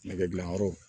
Nɛgɛdilanyɔrɔ